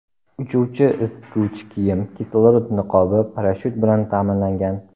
Uchuvchi isituvchi kiyim, kislorod niqobi, parashyut bilan ta’minlangan.